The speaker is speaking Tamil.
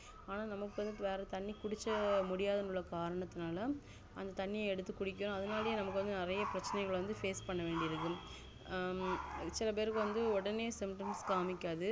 ஆணா நமக்கு வந்து வேற தண்ணி குடிச்ச முடியாத காரணத்துனால அந்த தண்ணி எடுத்து குடிக்கிறோம் அதனாலயும் நெறையபிரச்சனைக்கள் வந்து face பண்ணவேண்டி இருக்கும் ஆஹ் உம் சில பேருக்கு வந்து ஒடனே symptoms காமிக்காது